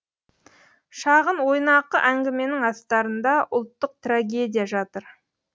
шағын ойнақы әңгіменің астарында ұлттық трагедия жатыр